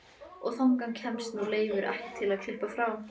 Og þangað kemst nú Leifur ekki til að klippa frá.